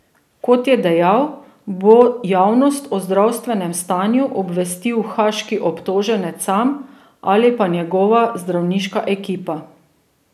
Kot je dejal, bo javnost o zdravstvenem stanju obvestil haaški obtoženec sam ali pa njegova zdravniška ekipa.